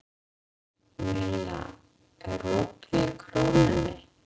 Milla, er opið í Krónunni?